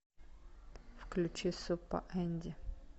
включи суппа энди